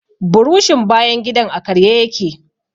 Burushin bayan gidan a karye ya ke.